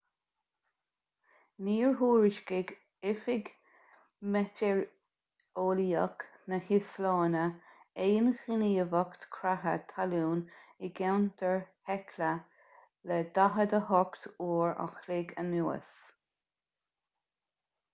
níor thuairiscigh oifig meitéareolaíoch na híoslainne aon ghníomhaíocht creatha talún i gceantar hekla le 48 uair an chloig anuas